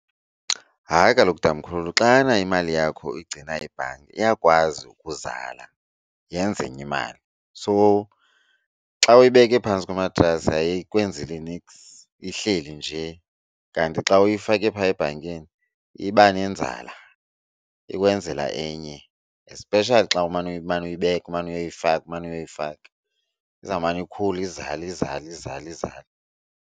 Hayi kaloku, tamkhulu xana imali yakho igcina ibhanki iyakwazi ukuzala, yenze enye imali. So xa uyibeke phantsi komatrasi ayikwenzeli niks ihleli nje kanti xa uyifake phaa ebhankini iba nenzala. Ikwenzela enye especially xa umane uyibeka, umane uyoyifaka umane uyoyifaka izawumane ikhule izale izale izale izale.